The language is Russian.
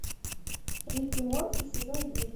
рик и морти сезон девять